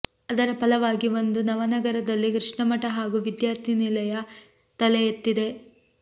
ಅದರ ಫಲವಾಗಿ ಒಂದು ನವನಗರದಲ್ಲಿ ಕೃಷ್ಣ ಮಠ ಹಾಗೂ ವಿದ್ಯಾರ್ಥಿ ನಿಲಯ ತಲೆ ಎತ್ತಿದೆ